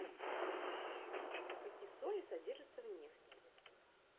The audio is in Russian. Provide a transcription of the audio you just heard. какие соли содержатся в нефти